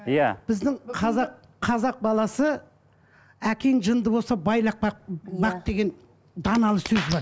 иә біздің қазақ қазақ баласы әкең жынды болса байлап бақ бақ деген даналы сөз бар